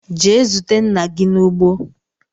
Jee zute nna gi n'ugbo!